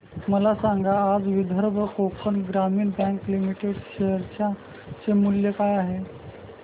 मला सांगा आज विदर्भ कोकण ग्रामीण बँक लिमिटेड च्या शेअर चे मूल्य काय आहे